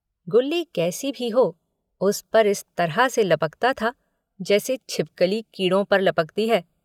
गुल्ली कैसी ही हो उस पर इस तरह से लपकता था जैसे छिपकली कीड़ों पर लपकती है।